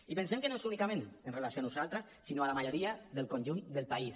i pensem que no és únicament amb relació a nosaltres sinó a la majoria del conjunt del país